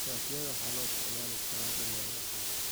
Shatiyada waxaa loo isticmaali karaa dammaanad ahaan.